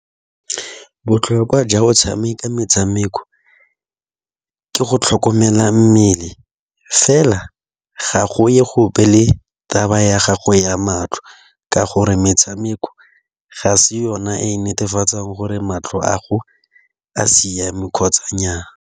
Botlhokwa jwa go tshameka metshameko ke go tlhokomela mmele fela ga go ye gope le taba ya gago ya matlho. Ka gore metshameko ga se yona e netefatsang gore matlho a go a siame kgotsa nyaa.